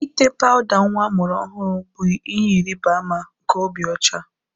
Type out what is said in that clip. Ite pawuda nwa amụrụ ọhụrụ bụ ihe ịrịba ama nke obi ocha